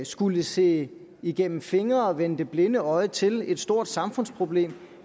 skulle se igennem fingre og vende det blinde øje til et stort samfundsproblem